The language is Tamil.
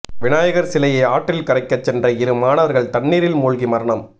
விநாயகர் சிலையை ஆற்றில் கரைக்க சென்ற இரு மாணவர்கள் தண்ணீரில் மூழ்கி மரணம்